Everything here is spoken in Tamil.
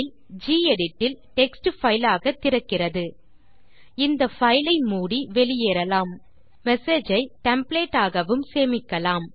கெடிட் இல் டெக்ஸ்ட் பைல் ஆக திறக்கிறது இந்தfile ஐ மூடி வெளியேறலாம் மெசேஜ் ஐ டெம்ப்ளேட் ஆகவும் சேமிக்கலாம்